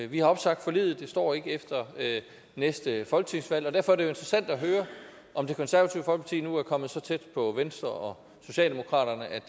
vi har opsagt forliget det står ikke efter næste folketingsvalg og derfor er det jo interessant at høre om det konservative folkeparti nu er kommet så tæt på venstre og socialdemokratiet at